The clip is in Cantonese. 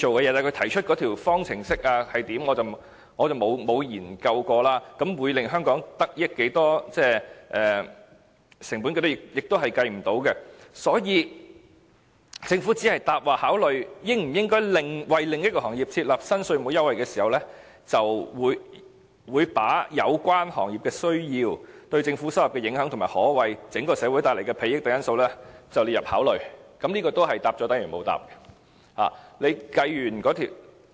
至於他提出的那條方程式，我則沒有研究，會令香港得益多少，而成本方面亦無法計算，所以政府只回答："在考慮應否為另一行業設立新稅務優惠制度時，會把有關行業的需要、對政府收入的影響及可為整個社會帶來的裨益等因素納入考慮之列"，這亦是答了等於沒有答。